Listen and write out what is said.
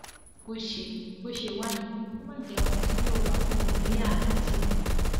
bó ṣe bó ṣe wá yẹn kó má jẹ ohun tí yóò bá kúrò nílẹ aláàjì nìyẹn